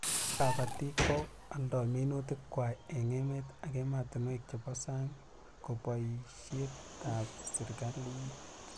Kabatik ko aldoi minutik kwai eng' emet ak ematinwek che bo sang ko boishet ab serikalit